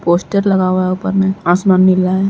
Poster लगा हुआ है ऊपर में। आसमान नीला है।